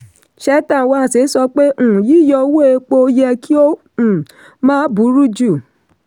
cheta nwanze sọ pé um yíyọ owó epo yẹ kí ó um má buru ju.